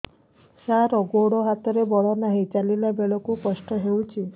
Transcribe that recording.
ସାର ଗୋଡୋ ହାତରେ ବଳ ନାହିଁ ଚାଲିଲା ବେଳକୁ କଷ୍ଟ ହେଉଛି